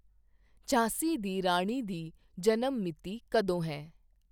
ਝਾਂਸੀ ਦੀ ਰਾਣੀ ਦੀ ਜਨਮ ਮਿਤੀ ਕਦੋਂ ਹੈ